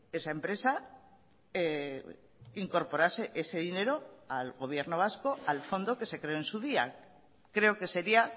esa empresa incorporase ese dinero al gobierno vasco al fondo que se creó en su día creo que sería